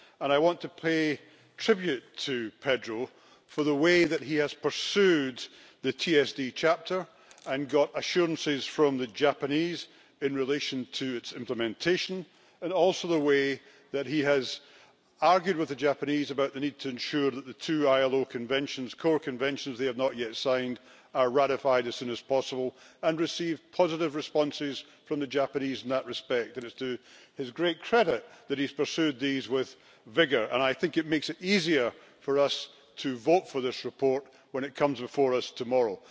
I want to pay tribute to Pedro Silva Pereira for the way that he has pursued the TSD chapter and got assurances from the Japanese in relation to its implementation, and also the way that he has argued with the Japanese about the need to ensure that the two ILO Core Conventions they have not yet signed are ratified as soon as possible and received positive responses from the Japanese in that respect. It is to his great credit that he has pursued these with vigour and I think it makes it easier for us to vote for this report when it comes before us tomorrow.